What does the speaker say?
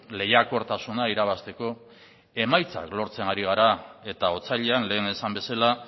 lehiakortasuna irabazteko emaitzak lortzen ari gara eta otsailean lehen esan bezala